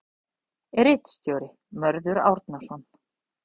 Ritstjóri: Mörður Árnason.